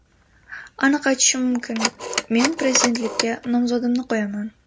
Aniq aytishim mumkin: men prezidentlikka nomzodimni qo‘yaman.